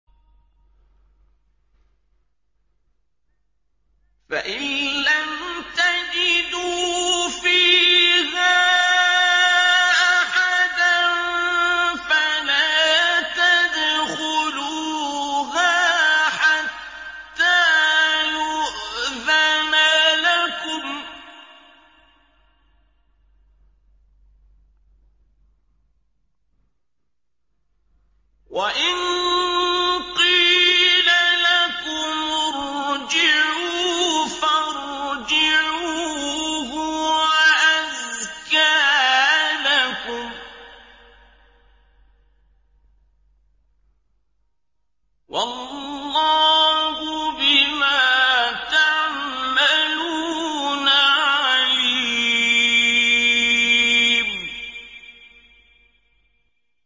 فَإِن لَّمْ تَجِدُوا فِيهَا أَحَدًا فَلَا تَدْخُلُوهَا حَتَّىٰ يُؤْذَنَ لَكُمْ ۖ وَإِن قِيلَ لَكُمُ ارْجِعُوا فَارْجِعُوا ۖ هُوَ أَزْكَىٰ لَكُمْ ۚ وَاللَّهُ بِمَا تَعْمَلُونَ عَلِيمٌ